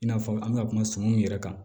I n'a fɔ an bɛ ka kuma suman mun yɛrɛ kan